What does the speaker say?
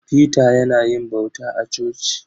Peter yana yin bauta a coci.